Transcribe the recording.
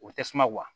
O bɛ tasuma